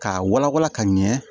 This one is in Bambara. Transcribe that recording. K'a wala wala ka ɲɛ